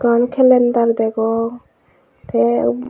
on kalender degong te ub.